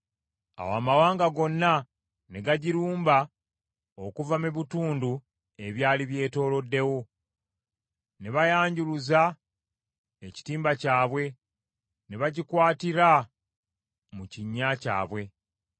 Awo amawanga gonna ne gagirumba, okuva mu bitundu ebyali byetooloddewo, ne bayanjuluza ekitimba kyabwe, ne bagikwatira mu kinnya kyabwe.